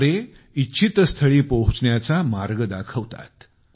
तारे इच्छितस्थळी पोहोचण्याचा मार्ग दाखवतात